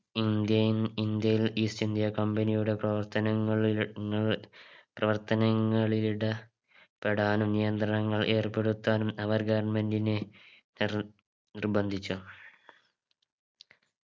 Indian ഇന്ത്യയിൽ East india company യുടെ പ്രവർത്തനങ്ങളിലി ങ്ങൾ പ്രവർത്തനങ്ങളിലിട പെടാനും നിയന്ത്രണങ്ങൾ ഏർപ്പെടുത്താനും അവർ government നെ നിർ നിർബന്ധിച്ചു